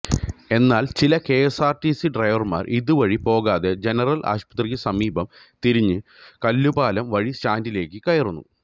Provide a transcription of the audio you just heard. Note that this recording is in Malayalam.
എന്നാല് ചില കെഎസ്ആര്ടിസി ഡ്രൈവര്മാര് ഇതുവഴി പോകാതെ ജനറല് ആശുപത്രിക്കു സമീപം തിരിഞ്ഞ് കല്ലുപാലം വഴി സ്റ്റാന്ഡിലേക്ക് കയറുന്നു